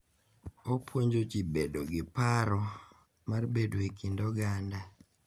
Opunjo ji bedo gi paro mar bedo e kind oganda.